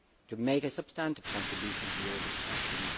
to make a substantive contribution to your discussions.